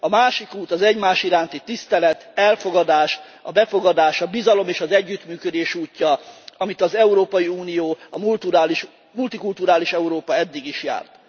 A másik út az egymás iránti tisztelet, elfogadás, a befogadás, a bizalom és az együttműködés útja, amit az Európai Unió, a multikulturális Európa eddig is járt.